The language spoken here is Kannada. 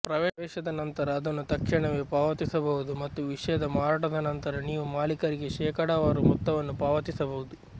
ಪ್ರವೇಶದ ನಂತರ ಅದನ್ನು ತಕ್ಷಣವೇ ಪಾವತಿಸಬಹುದು ಮತ್ತು ವಿಷಯದ ಮಾರಾಟದ ನಂತರ ನೀವು ಮಾಲೀಕರಿಗೆ ಶೇಕಡಾವಾರು ಮೊತ್ತವನ್ನು ಪಾವತಿಸಬಹುದು